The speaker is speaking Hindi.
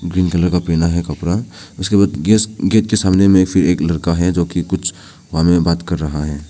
पिंक कलर का पहना है कपड़ा उसके बाद एक गेट के सामने में फिर एक लड़का है जो कि कुछ वहा मे बात कर रहा है।